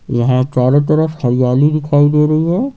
यहां चारों तरफ हरियाली दिखाई दे रही है।